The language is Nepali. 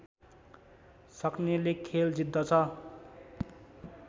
सक्नेले खेल जित्दछ